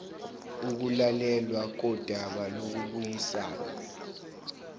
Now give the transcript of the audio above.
ukulalelwa kodaba lokubuyisana